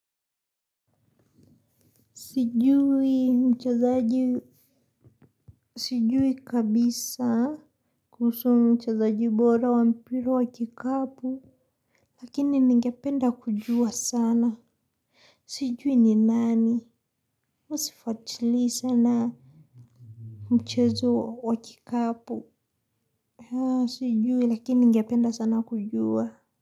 Sijui mchezaji sijui kabisa kuhusu mchezaji bora wa mpira wa kikapu lakini ningependa kujua sana. Sijui ni nani mi sifatili sana mchezo wa kikapu. Sijui lakini ningependa sana kujua.